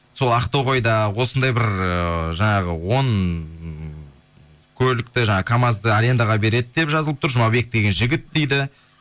сол ақтоғайда осындай бір ыыы жаңағы он көлікті жаңағы камазды арендаға береді деп жазылып тұр жұмабек деген жігіт дейді